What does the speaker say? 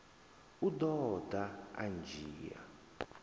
u ḓo ḓa a ndzhia